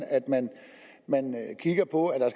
at man kigger på at der